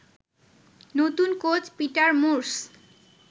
নতুন coach Peter Moors